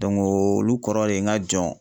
olu kɔrɔ de ye n ka jɔn.